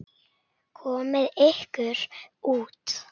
Komiði ykkur út.